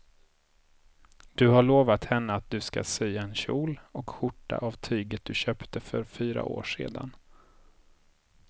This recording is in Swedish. Du har lovat henne att du ska sy en kjol och skjorta av tyget du köpte för fyra år sedan.